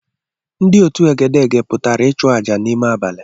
Ndị otú egede pụtara ịchụàjà n’ime abali